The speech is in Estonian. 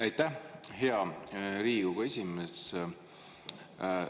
Aitäh, hea Riigikogu esimees!